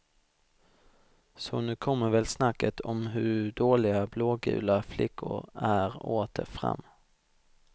Så nu kommer väl snacket om hur dåliga blågula flickor är åter fram.